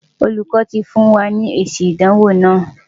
Olùkọ́ ti fún wa ní èsì ìdánwò wa.